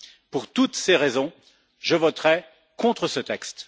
Pour toutes ces raisons, je voterai contre ce texte.